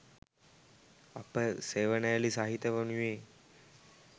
අප සෙවනැලි සහිත වනුයේ